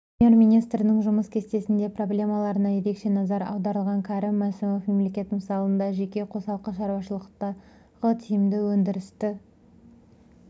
премьер-министрдің жұмыс кестесінде проблемаларына ерекше назар аударылған кәрім мәсімов мемлекет мысалында жеке қосалқы шаруашылықтағы тиімді өндірісті